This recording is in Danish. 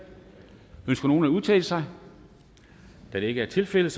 ønsker nogen at udtale sig da det ikke er tilfældet